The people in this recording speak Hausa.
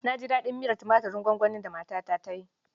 Na ji daɗin miyar tumatin gwangwanin da matata ta yi.